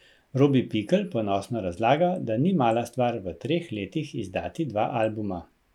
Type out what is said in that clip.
Robi Pikl ponosno razlaga, da ni mala stvar v treh letih izdati dva albuma.